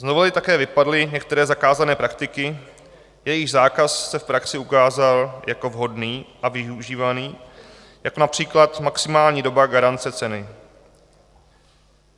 Z novely také vypadly některé zakázané praktiky, jejichž zákaz se v praxi ukázal jako vhodný a využívaný, jako například maximální doba garance ceny.